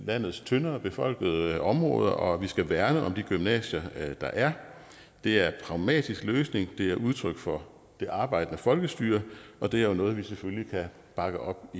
landets tyndere befolkede områder og at vi skal værne om de gymnasier der er det er en pragmatisk løsning det er udtryk for det arbejdende folkestyre og det er jo noget vi selvfølgelig kan bakke op